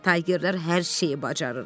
Taygerlər hər şeyi bacarırlar.